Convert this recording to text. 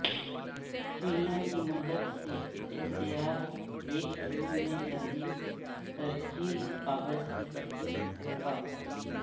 سوئیاں کی مدد سے احتیاط ایک ٹیوب میں تبدیل ترچھی کاغذ کی پٹی دھوکہ